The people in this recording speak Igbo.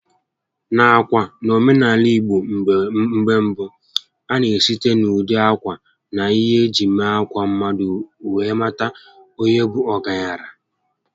Nakwa, n'omenaala ìgbo mgbé mbụ, a na esite na ụdị ákwà na ihé eji mee ákwà mmadụ were mata onye bụ ọgaranya